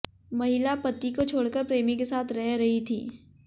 महिला पति को छोड़कर प्रेमी के साथ रह रही थी